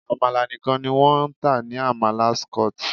Àmàlà nìkan ni wọ́n ń tà ní Amala Skot.